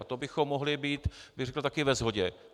A to bychom mohli být, bych řekl, také ve shodě.